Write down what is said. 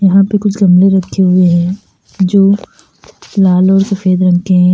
यहां पे कुछ गमले रखे हुए हैं जो लाल और सफेद रंग के हैं।